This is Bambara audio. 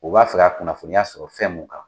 U b'a fɛ ka kunnafoniya sɔrɔ fɛn mun kan.